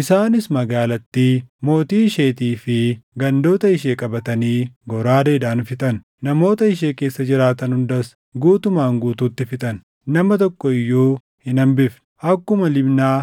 Isaanis magaalattii, mootii isheetii fi gandoota ishee qabatanii goraadeedhaan fixan. Namoota ishee keessa jiraatan hundas guutumaan guutuutti fixan. Nama tokko iyyuu hin hambifne. Akkuma Libnaa,